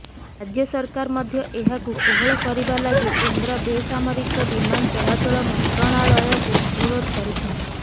ରାଜ୍ୟ ସରକାର ମଧ୍ୟ ଏହାକୁ କୋହଳ କରିବା ଲାଗି କେନ୍ଦ୍ର ବେସାମରିକ ବିମାନ ଚଳାଚଳ ମନ୍ତ୍ରଣାଳୟକୁ ଅନୁରୋଧ କରିଛନ୍ତି